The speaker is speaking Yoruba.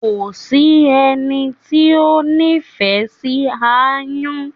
Kò sí ẹni tí o n'ifẹ sí aáyán.